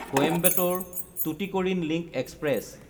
Coimbatore Tuticorin link express